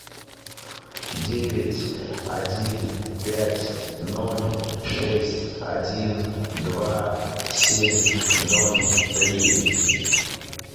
девять один пять ноль шесть один два семь ноль три